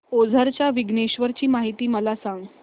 ओझर च्या विघ्नेश्वर ची महती मला सांग